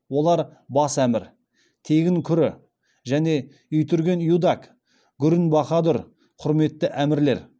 олар бас әмір тегін күрі және итүрген юдак гүрін бахадүр құрметті әмірлер